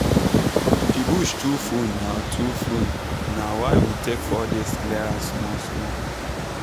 the bush too full na too full na why we take four days clear am small small